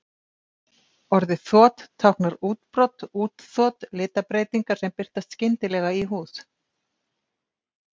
Orðið þot táknar útbrot, útþot, litabreytingar sem birtast skyndilega í húð.